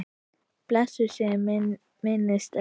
Blessuð sé minning Stellu.